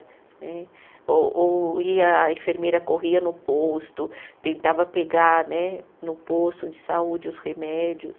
Né, o o, e a enfermeira corria no posto, tentava pegar né, no posto de saúde os remédios.